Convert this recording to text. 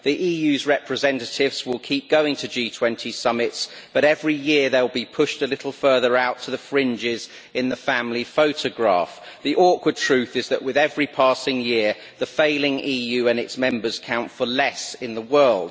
The EU's representatives will keep going to G20 summits but every year they will be pushed a little further out to the fringes in the family photograph. The awkward truth is that, with every passing year, the failing EU and its members count for less in the world.